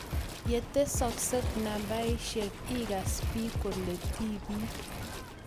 Ye tesokis nambaishe igas biik kole tibiik.